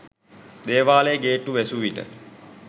දේවාලයේ ගේට්ටුව වැසූවිට